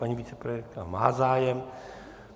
Paní vicepremiérka má zájem.